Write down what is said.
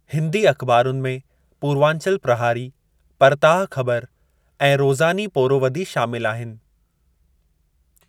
हिन्दी अख़िबारुनि में पूर्वांचल प्रहारी, परताह ख़बर ऐं रोज़ानी पोरोवदी शामिलु आहिनि।